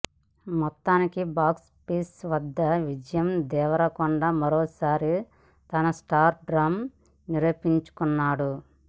మొత్తానికి బాక్సాపీస్ వద్ద విజయ్ దేవరకొండ మరోసారి తన స్టార్ డమ్ నిరూపించుకున్నాడు